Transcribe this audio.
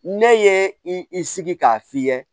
Ne ye i sigi k'a f'i ye